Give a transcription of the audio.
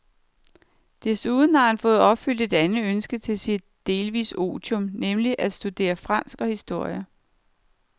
Desuden har han fået opfyldt et andet ønske til sit delvise otium, nemlig at studere fransk og historie.